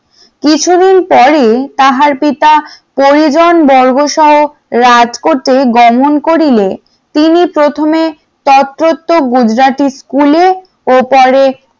কিছুদিন পরেই তাহার পিতা পরিজন বর্গসহ রাজকোটে গমন করিলে তিনি প্রথমে তোর তথ্য গুজরাটি স্কুলে ও পরে